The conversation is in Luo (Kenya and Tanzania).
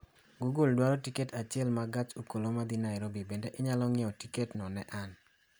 google adwaro tiket achiel ma gach okolomodhi nairobi bende inyalo ng'iewo tiketno ne an